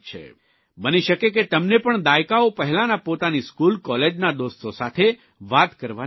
બની શકે કે તમને પણ દાયકાઓ પહેલાના પોતાની સ્કૂલ કોલેજના દોસ્તો સાથે વાત કરવાની તક મળે